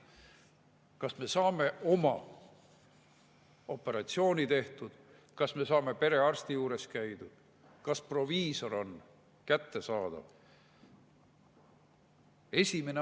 Kas me saame operatsiooni tehtud, kas me saame perearsti juures käidud, kas proviisor on kättesaadav?